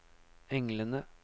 englene